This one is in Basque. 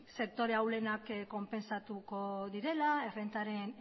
sektore ahulenak konpentsatuko direla errentaren